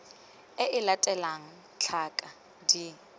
e e latelang tlhaka d